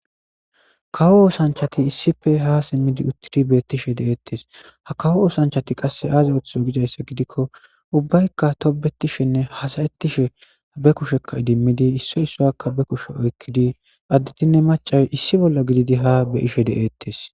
kawo oosanchati issife ha simmidi uttidi beettishe de'eettes ha kawo oosanchati qasse aaze oththizo gizayssa gidikko ubbaykka tobetishenne hasayettishe be kushekka idimmidi isso issoyakka be kushe oykkidi additinne macay issi bolla gididi ha be'ishe de'eettes